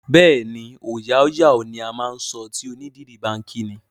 Bẹẹni, "ọòya á yà" ni á máa ń sọ tí onídìrí bá ń kí ni.